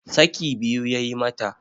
saki biyu ya yi mata